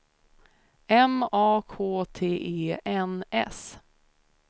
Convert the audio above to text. M A K T E N S